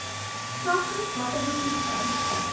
kragtens watter bevoegdheid